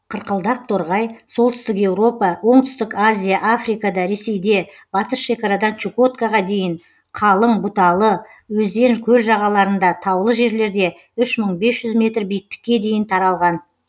қырқылдақ торғай солтүстік еуропа оңтүстік азия африкада ресейде батыс шекарадан чукоткаға дейін қалың бұталы өзен көл жағаларында таулы жерлерде үш мың бес жүз метр биіктікке дейін таралған